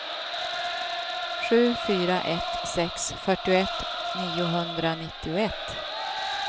sju fyra ett sex fyrtioett niohundranittioett